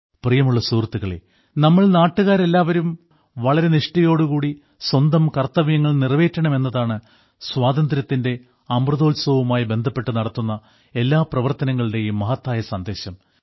പ്രിയമുള്ള സുഹൃത്തുക്കളേ നമ്മൾ നാട്ടുകാരെല്ലാവരും വളരെ നിഷ്ഠയോടു കൂടി സ്വന്തം കർത്തവ്യങ്ങൾ നിറവേറ്റണം എന്നതാണ് സ്വാതന്ത്ര്യത്തിന്റെ അമൃതോത്സവവുമായി ബന്ധപ്പെട്ട് നടത്തുന്ന എല്ലാ പ്രവർത്തനങ്ങളുടേയും മഹത്തായ സന്ദേശം